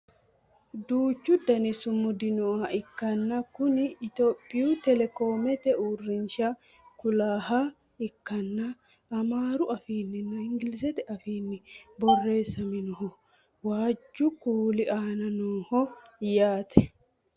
duuchu dani sumudi nooha ikkanna kuni etiyophiyu telekoomete uurrinsha kulannoha ikkanna amaaru afiinninna inglizete afiinni borreessinoonniho waajju kuuli aana nooho yaate